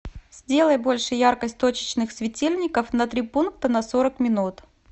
сделай больше яркость точечных светильников на три пункта на сорок минут